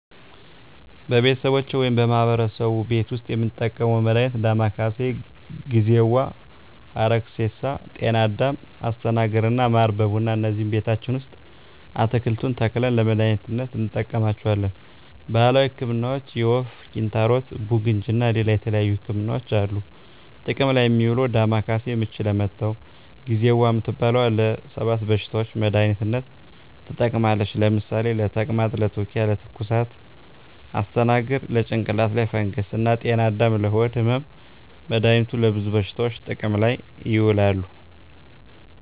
በቤተሰቦቼ ወይም በማህበረሰቡ ቤት ዉስጥ የምንጠቀመዉ መድሃኒት ዳማከሴ፣ ጊዜዋ፣ ሀረግሬሳ፣ ጤናአዳም፣ አስተናግር እና ማር በቡና እነዚህን ቤታችን ዉስጥ አትክልቱን ተክለን ለመድሃኒትነት እንጠቀማቸዋለን። ባህላዊ ህክምናዎች የወፍ፣ ኪንታሮት፣ ቡግንጂ እና ሌላ የተለያዩ ህክምናዎች አሉ። ጥቅም ላይ እሚዉለዉ ዳማከሴ፦ ምች ለመታዉ፣ ጊዜዋ እምትባለዋ ለ 7 በሽታዎች መድሃኒትነት ትጠቅማለች ለምሳሌ፦ ለተቅማጥ፣ ለትዉኪያ፣ ለትኩሳት... ፣ አስተናግር፦ ለጭንቅላት ላይ ፈንገስ እና ጤናአዳም፦ ለሆድ ህመም... መድሃኒቱ ለብዙ በሽታዎች ጥቅም ላይ ይዉላሉ።